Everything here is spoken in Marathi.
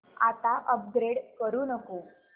आता अपग्रेड करू नको